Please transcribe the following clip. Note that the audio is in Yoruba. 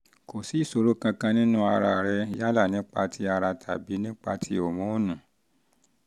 kò sí ìṣòro kankan nínú ara rẹ yálà nípa ti ara tàbí nípa ti hòmónù